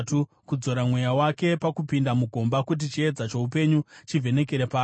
kudzora mweya wake pakupinda mugomba, kuti chiedza choupenyu chivhenekere paari.